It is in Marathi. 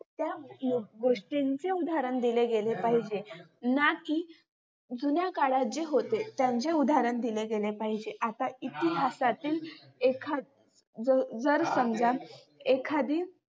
त्या गोष्टींचे उदाहरण दिले गेले पाहिजे ना की जुन्याकाळात जे होते त्याचें उदाहरण दिले गेले पाहिजे आता इतिहासातील एखादी जर समजा एखादी